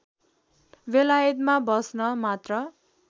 बेलायतमा बस्न मात्र